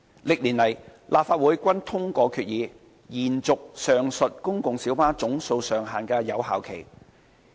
歷年來，立法會均通過決議，延續上述公共小巴總數上限的有效期。